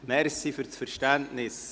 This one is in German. Danke für Ihr Verständnis.